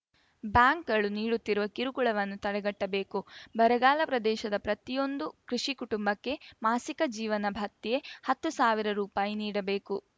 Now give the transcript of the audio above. ಬ್ಯಾಂಕ್‌ಗಳು ನೀಡುತ್ತಿರುವ ಕಿರುಕುಳವನ್ನು ತಡೆಗಟ್ಟಬೇಕು ಬರಗಾಲ ಪ್ರದೇಶದ ಪ್ರತಿಯೊಂದು ಕೃಷಿ ಕುಟುಂಬಕ್ಕೆ ಮಾಸಿಕ ಜೀವನ ಭತ್ಯೆ ಹತ್ತು ಸಾವಿರ ರುಪಾಯಿ ನೀಡಬೇಕು